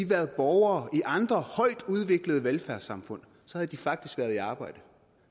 været borgere i andre højt udviklede velfærdssamfund faktisk havde været i arbejde